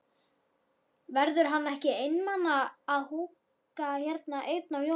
Verður hann ekki einmana að húka hérna einn á jólunum?